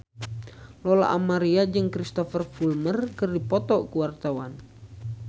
Lola Amaria jeung Cristhoper Plumer keur dipoto ku wartawan